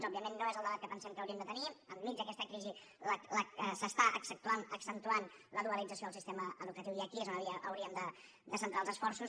òbviament no és el debat que pensem que hauríem de tenir enmig d’aquesta crisi s’està accentuant la dualització del sistema educatiu i aquí és on hauríem de centrar els esforços